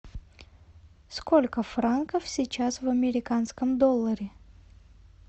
сколько франков сейчас в американском долларе